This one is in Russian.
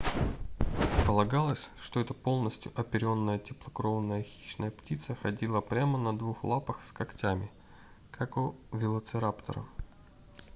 полагалось что эта полностью оперённая теплокровная хищная птица ходила прямо на двух лапах с когтями как у велоцираптора